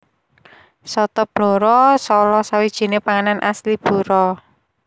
Soto Blora salah sawijine panganan khas asli Blora